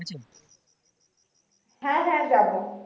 হ্যা হ্যা যাবো।